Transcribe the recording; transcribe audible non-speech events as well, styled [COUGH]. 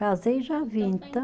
Casei e já vim. [UNINTELLIGIBLE]